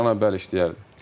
Kamranı bəli, işləyərdim.